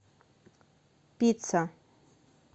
пицца